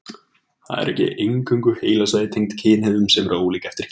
Það eru ekki eingöngu heilasvæði tengd kynhegðun sem eru ólík eftir kynjum.